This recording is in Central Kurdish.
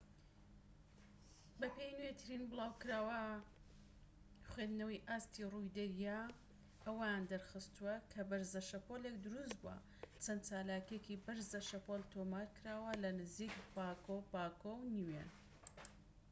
بەپێی نوێترین بڵاوکراوە خوێندنەوەی ئاستی ڕووی دەریا ئەوەیان دەرخستوە کە بەرزە شەپۆلێك دروست بووە چەند چالاکیەکی بەرزە شەپۆل تۆمار کراوە لە نزیك پاگۆ پاگۆ و نیوێ